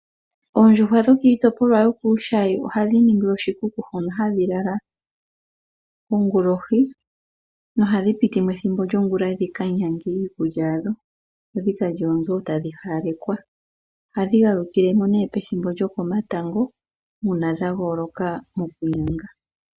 Oondjuhwa dho kiitoplwa yokuushayi ohadhi ningilwa oshikuku hono hadhi lala kongulohi, nohadhi pitimo ethimbo lyongula dhi ka nyange iikulya yadho, dho dhika lye wo mbyo tadhi hawalekwa. Ohadhi galukilemo woo ethimbo lyo komatango uuna dha gooloka moku nyanga.